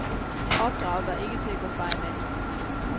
Opdraget var ikke til at gå fejl af.